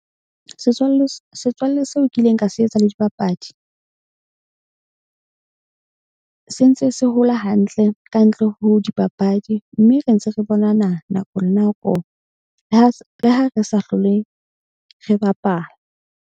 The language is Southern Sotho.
Setswalle setswalle seo kileng ka se etsa le dipapadi sentse se hola hantle ka ntle ho dipapadi. Mme re ntse re bonana nako le nako le ha re sa hlole re bapala.